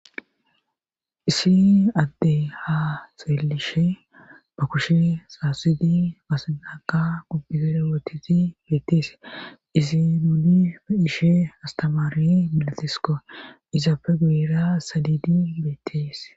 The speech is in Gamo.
Isi adde ha xeelishe ba kushe saasidi asanaka gubbigere wotiti beettees isi nuunie ishe astamaari milatisiko izaafe guyra sadidi beettees.